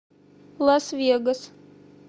лас вегас